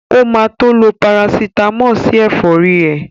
O ma tó lo Parasítámọ̀ sí ẹ̀fọ́rí ẹ̀